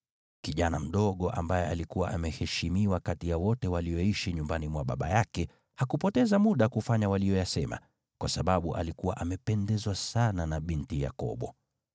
Kijana mdogo, ambaye alikuwa ameheshimiwa kati ya wote walioishi nyumbani mwa baba yake, hakupoteza muda kufanya waliyoyasema, kwa sababu alikuwa amependezwa sana na binti Yakobo.